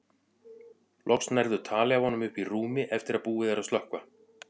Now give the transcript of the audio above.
Loks nærðu tali af honum uppi í rúmi eftir að búið er að slökkva.